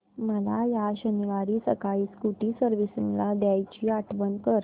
मला या शनिवारी सकाळी स्कूटी सर्व्हिसिंगला द्यायची आठवण कर